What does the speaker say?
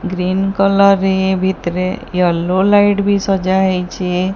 Green colour ରେ ଭିତରେ yellow ବି ସଜ୍ଜା ହେଇଚି ।